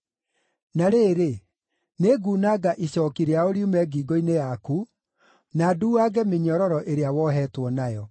Na rĩrĩ, nĩnguunanga icooki rĩao riume ngingo-inĩ yaku, na nduange mĩnyororo ĩrĩa woheetwo nayo.”